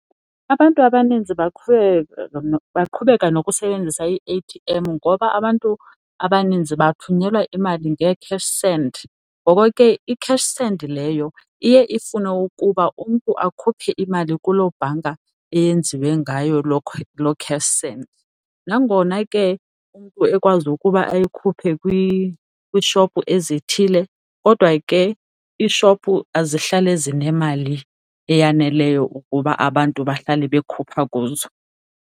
Abantu abaninzi baqhubeka nokusebenzisa ii-A_T_M ngoba abantu abaninzi bathunyelwa imali ngee-cash send. Ngoko ke i-cash send leyo iye ifune ukuba umntu akhuphe imali kuloo bhanka eyenziwe ngayo loo cash send. Nangona ke umntu ekwazi ukuba ayikhuphe kwishophu ezithile kodwa ke iishophu azihlale zinemali eyaneleyo ukuba abantu bahlale bekhupha kuzo.